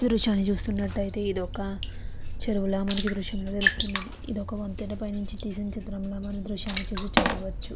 ఈ దృశ్యాన్ని చూసినట్టైతే ఇదొక చెరువుల మంకు ఈ దృశ్యంలో తెలుస్తున్నది. ఇదొక వంతెన పైన నించి టెస్నట్టు మనం ఈ చిత్రాన్ని చూసి చెప్పవచ్చు.